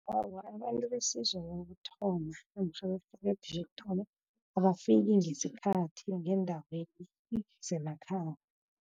Awa, abantu besizo wokuthoma namtjhana berhelebho lokuthoma, abafiki ngesikhathi ngeendaweni zemakhaya.